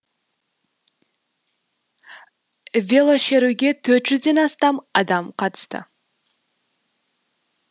велошеруге төрт жүзден астам адам қатысты